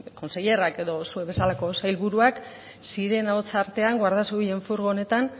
consellerrak edo zuek bezala sailburuak zirena hots artean guardia zibilen furgonetan